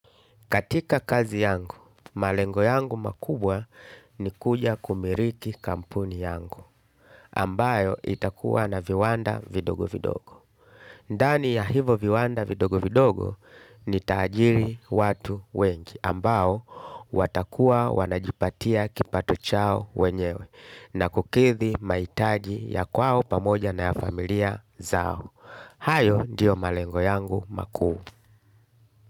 Katika kazi yangu malengo yangu makubwa ni kuja kumiliki kampuni yangu ambayo itakua na viwanda vidogo vidogo. Ndani ya hivo viwanda vidogo-vidogo ni taajiri watu wengi ambao watakuwa wanajipatia kipato chao wenyewe na kukithi maitaji ya kwao pamoja na ya familia zao. Hayo ndiyo malengo yangu makuu.